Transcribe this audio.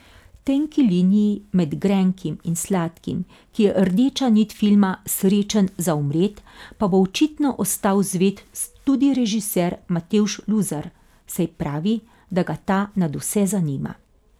Tenki liniji med grenkim in sladkim, ki je rdeča nit filma Srečen za umret, pa bo očitno ostal zvest tudi režiser Matevž Luzar, saj pravi, da ga ta nadvse zanima.